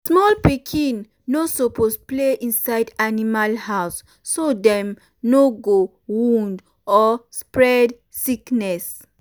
small pikin no um suppose play inside animal house so dem no go wound or spread sickness